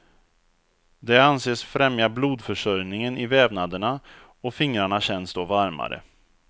Det anses främja blodförsörjningen i vävnaderna och fingrarna känns då varmare.